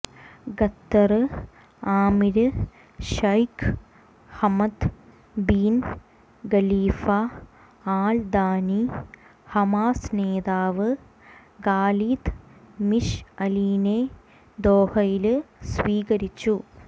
ഖത്തര് അമീര് Sheikh Hamad bin Khalifa Al Thani Hamas നേതാവ് Khalid മിശ്അലിനെ ദോഹയില് സ്വീകരിച്ചു